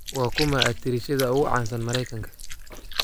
waa kuma atariishada ugu caansan maraykanka